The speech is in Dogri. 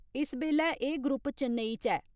इस बैल्ले एह् ग्रुप चैन्नेई च ऐ।